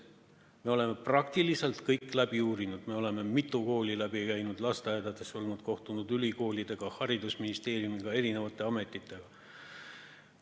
Me oleme praktiliselt kõik läbi uurinud, me oleme mitu kooli läbi käinud, lasteaedades olnud, kohtunud ülikoolidega, haridusministeeriumi ja ametitega.